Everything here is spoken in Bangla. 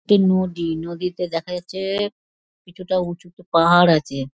একটি নদী নদীতে দেখা যাচ্ছে এ কিছুটা উঁচুতে পাহাড় আছে |